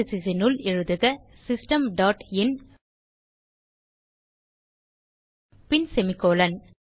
parenthesesகளினுள் எழுதுக system dot in பின் semicolon